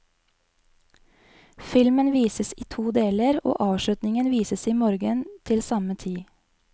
Filmen vises i to deler, og avslutningen vises i morgen til samme tid.